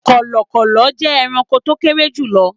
Kọ̀lọ̀kọ̀lọ̀ jẹ́ ẹranko tó kéré jùlọ